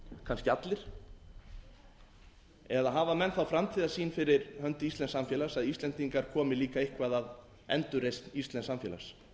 kannski allir eða hafa menn þá framtíðarsýn fyrir hönd íslensks samfélags að íslendingar komi líka eitthvað að endurreisn íslensks samfélags við